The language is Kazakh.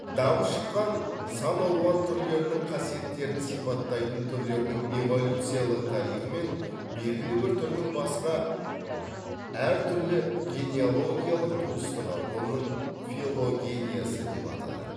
дамып шыққан сан алуан түрлерінің қасиеттерін сипаттайтын түрлердің эволюциялық тарихы мен белгілі бір түрдің басқа әр түрлі генеалогиялық туыстығы оның филогениясы деп аталады